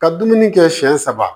Ka dumuni kɛ siɲɛ saba